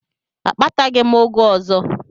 Akpataghị m ụgụ ọzọ.